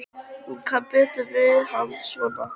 Hún kann betur við hann svona.